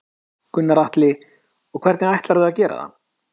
Gunnar Atli: Og hvernig ætlar þú að gera það?